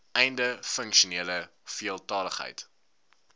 einde funksionele veeltaligheid